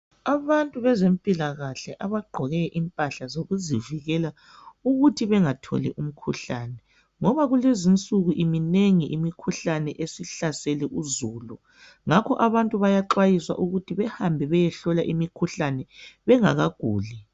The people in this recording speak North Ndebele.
Abantu bezempilakahle abagqoke impahla zokuzivikela ukuthi bengatholi umkhuhlane, ngoba kulezinsuku iminengi imikhuhlane esihlasele uzulu, ngakho abantu bayaxwayiswa ukuthi behambe beyehlolwa imikhuhlane bengakaguli.